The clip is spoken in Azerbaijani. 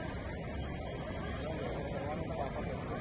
Bura nə vaxta kimi davam edəcək?